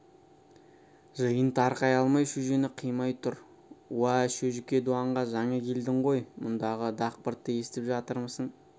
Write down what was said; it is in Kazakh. жиын тарқай алмай шөжені қимай тұр уа шөжіке дуанға жаңа келдің ғой мұндағы дақбыртты естіп жатырмысың